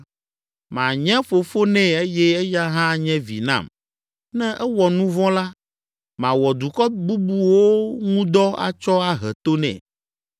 Manye fofo nɛ eye eya hã anye vi nam. Ne ewɔ nu vɔ̃ la, mawɔ dukɔ bubuwo ŋu dɔ atsɔ ahe to nɛ,